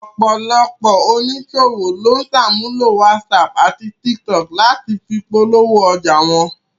Ọ̀pọ̀lọpọ̀ oníṣòwò ló ń sàmúlò whatsapp àti tiktok láti fi polówó ọjà wọn